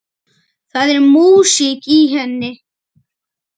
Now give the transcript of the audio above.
Það er músík í henni.